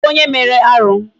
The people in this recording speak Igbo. Kedụ onye mere arụ?